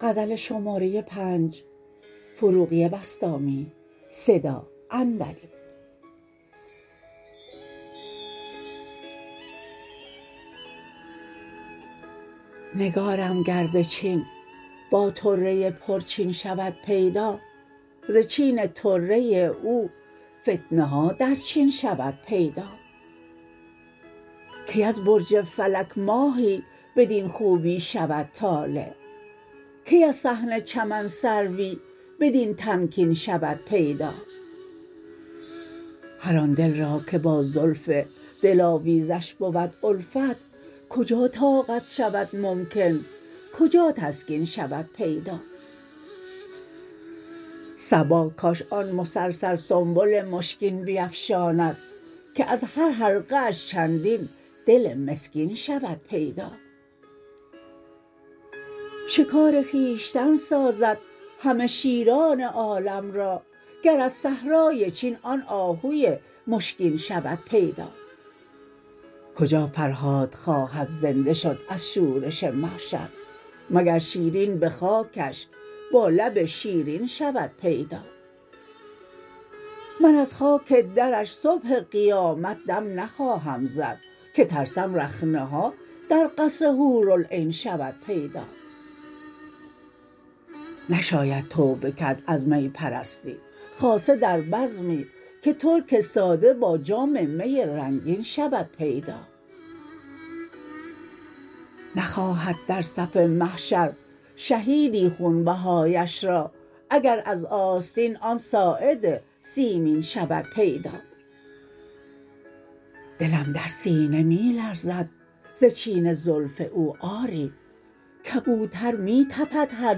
نگارم گر به چین با طره پرچین شود پیدا ز چین طره او فتنه ها در چین شود پیدا کی از برج فلک ماهی بدین خوبی شود طالع کی از صحن چمن سروی بدین تمکین شود پیدا هر آن دل را که با زلف دل آویزش بود الفت کجا طاقت شود ممکن کجا تسکین شود پیدا صبا کاش آن مسلسل سنبل مشکین بیفشاند که از هر حلقه اش چندین دل مسکین شود پیدا شکار خویشتن سازد همه شیران عالم را گر از صحرای چین آن آهوی مشکین شود پیدا کجا فرهاد خواهد زنده شد از شورش محشر مگر شیرین به خاکش با لب شیرین شود پیدا من از خاک درش صبح قیامت دم نخواهم زد که ترسم رخنه ها در قصر حورالعین شود پیدا نشاید توبه کرد از می پرستی خاصه در بزمی که ترک ساده با جام می رنگین شود پیدا نخواهد در صف محشر شهیدی خون بهایش را اگر از آستین آن ساعد سیمین شود پیدا دلم در سینه می لرزد ز چین زلف او آری کبوتر می تپد هر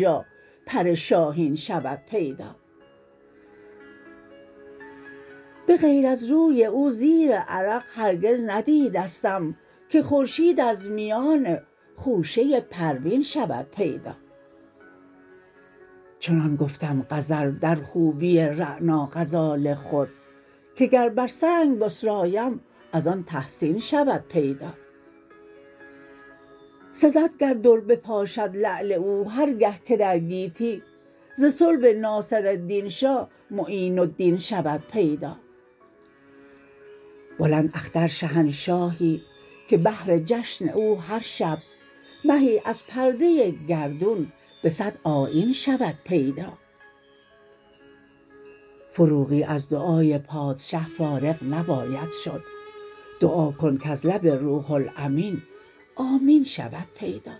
چا پر شاهین شود پیدا به غیر از روی او زیر عرق هرگز ندیدستم که خورشید از میان خوشه پروین شود پیدا چنان گفتم غزل در خوبی رعنا غزال خود که گر بر سنگ بسرایم از آن تحسین شود پیدا سزد گر در بپاشد لعل او هر گه که در گیتی ز صلب ناصرالدین شه معین الدین شود پیدا بلند اختر شهنشاهی که بهر جشن او هر شب مهی از پرده گردون به صد آیین شود پیدا فروغی از دعای پادشه فارغ نباید شد دعا کن کز لب روح الامین آمین شود پیدا